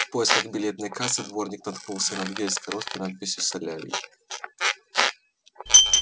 в поисках билетной кассы дворник наткнулся на дверь с короткой надписью солярий